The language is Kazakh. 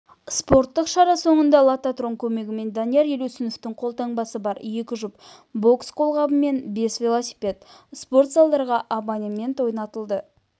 спорттық шара соңында лототрон көмегімен данияр елеусіновтің қолтаңбасы бар екі жұп бокс қолғабы мен бес велосипед спорт залдарға абонемент ойнатылды